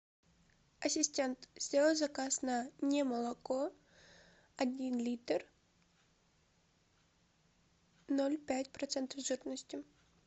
ассистент сделай заказ на немолоко один литр ноль пять процентов жирности